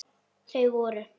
Þau voru